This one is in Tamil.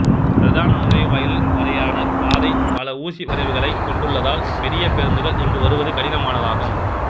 பிரதான நுழைவாயில் வரையான பாதை பல ஊசிவளைவுகளைக் கொண்டுள்ளதால் பெரிய பேருந்துக்கள் இங்கு வருவது கடினமானதாகும்